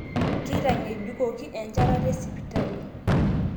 Keitang'ejukoki enchetata esipitali